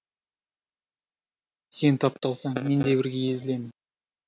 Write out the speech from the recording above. сен тапталсаң мен де бірге езілемін